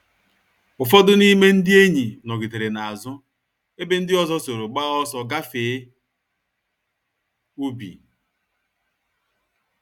Ụfọdụ n’ime ndị enyi nọgidere n’azụ, ebe ndị ọzọ soro gbaa ọsọ gafee ubi.